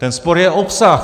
Ten spor je obsah.